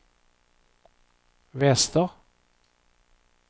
väster